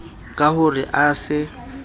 ka ho re a se